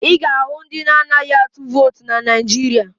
Ị ga-ahụ ndị na-anaghị atụ vootu na Naịjirịa